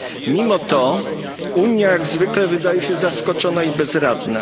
Mimo to Unia jak zwykle wydaje się zaskoczona i bezradna.